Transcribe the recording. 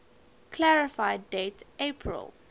clarify date april